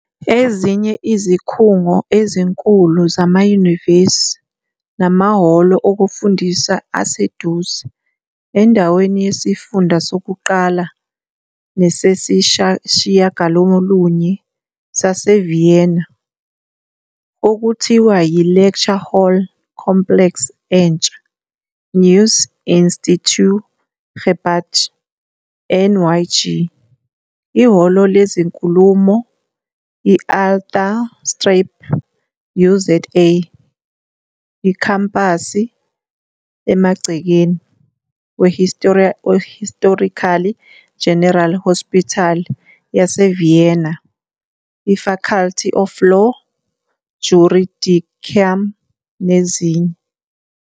Ezinye izikhungo ezinkulu zamanyuvesi namahholo okufundisa aseduze endaweni yeSifunda Sokuqala Nesesishiyagalolunye saseVienna- okuthiwa yi-Lecture Hall Complex entsha, Neues Institutgebäude, NIG, ihholo lezinkulumo i-Althanstrabe, UZA, ikhampasi emagcekeni. We-Historical General Hospital yase-Vienna, i-Faculty of Law, Juridicum, nezinye.